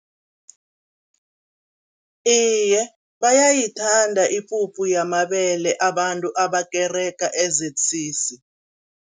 Iye, bayayithanda ipuphu yamabele abantu abakerega e-Z_C_C.